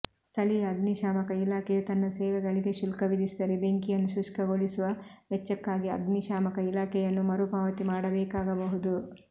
ಸ್ಥಳೀಯ ಅಗ್ನಿಶಾಮಕ ಇಲಾಖೆಯು ತನ್ನ ಸೇವೆಗಳಿಗೆ ಶುಲ್ಕ ವಿಧಿಸಿದರೆ ಬೆಂಕಿಯನ್ನು ಶುಷ್ಕಗೊಳಿಸುವ ವೆಚ್ಚಕ್ಕಾಗಿ ಅಗ್ನಿಶಾಮಕ ಇಲಾಖೆಯನ್ನು ಮರುಪಾವತಿ ಮಾಡಬೇಕಾಗಬಹುದು